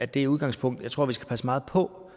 det udgangspunkt at jeg tror at vi skal passe meget på